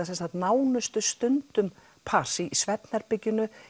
nánustu stundum pars í svefnherberginu